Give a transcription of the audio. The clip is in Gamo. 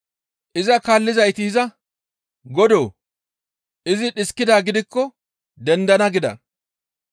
Iza kaallizayti iza, «Godoo! izi dhiskidaa gidikko dendana» gida.